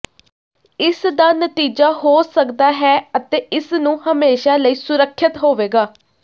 ਇਸ ਦਾ ਨਤੀਜਾ ਹੋ ਸਕਦਾ ਹੈ ਅਤੇ ਇਸ ਨੂੰ ਹਮੇਸ਼ਾ ਲਈ ਸੁਰੱਖਿਅਤ ਹੋਵੇਗਾ